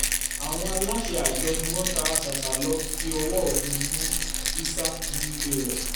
àwọn aláṣẹ àjọ ọ̀hún ni wọ́n tara ṣàṣà lọ́ọ́ fọwọ́ òfin mú ísà nílé rẹ̀